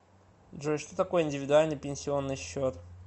джой что такое индивидуальный пенсионный счет